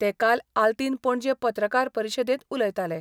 ते काल आल्तीन पणजे पत्रकार परिशदेंत उलयताले.